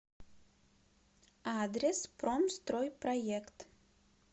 адрес промстройпроект